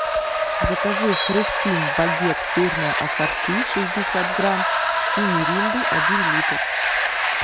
закажи хрустим багет сырное ассорти шестьдесят грамм и миринду один литр